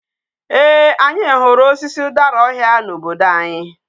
Ee, anyi huru osisi udara ohia na obodo anyi